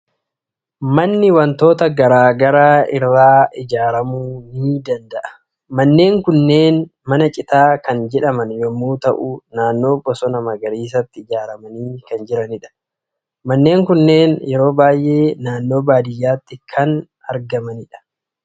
Manni waantota garaa garaa irraa ijaaramuu ni danda'a. Manneen kunneen mana citaa kan jedhaman yommuu ta'u, naannoo bosona magariisaatti ijaaramanii kan jiranidha. Manneen kunneen yeroo baay'ee naannoo baadiyyaatti kan ijaaramanidha.